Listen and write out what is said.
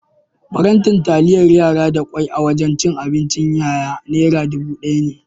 Faranti taliyar yara da kwai a wajan cin abincin yaya nera dubu ɗaya ne.